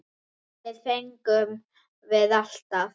Það fengum við alltaf.